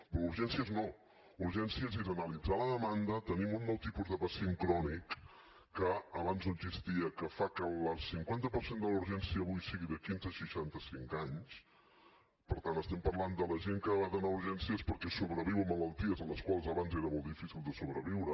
però a urgències no a urgències és analitzar la demanda tenim un nou tipus de pacient crònic que abans no existia que fa que el cinquanta per cent de la urgència avui sigui de quinze a seixanta cinc anys per tant estem parlant de la gent que ha d’anar a urgències perquè sobreviu a malalties a les quals abans era molt difícil de sobreviure